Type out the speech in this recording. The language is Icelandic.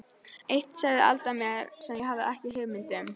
Eitt sagði Alda mér sem ég hafði ekki hugmynd um.